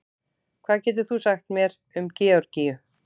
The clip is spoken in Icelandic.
hvað getur þú sagt mér um georgíu